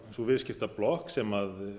sú viðskiptablokk sem